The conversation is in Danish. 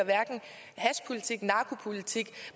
hashpolitik narkopolitik